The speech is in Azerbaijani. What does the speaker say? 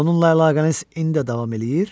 Onunla əlaqəniz indi də davam eləyir?